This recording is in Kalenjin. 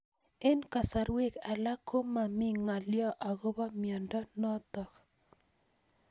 Eng'kasarwek alak ko mami ng'alyo akopo miondo notok